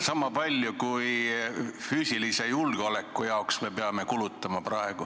Sama palju, kui me peame kulutama füüsilise julgeoleku jaoks.